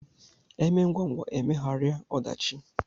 E mee ngwangwa e megharịa ọdachi